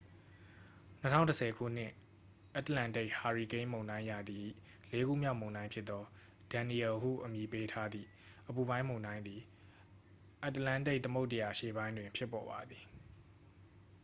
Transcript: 2010 ခုနှစ် အတ္တလန္တိတ် ဟာရီကိန်းမုန်တိုင်းရာသီ၏ လေးခုမြောက်မုန်တိုင်းဖြစ်သော danielle ဟုအမည်ပေးထားသည့် အပူပိုင်းမုန်တိုင်းသည် အတ္တလန္တိတ်သမုဒ္ဒရာအရှေ့ပိုင်းတွင် ဖြစ်ပေါ်ပါသည်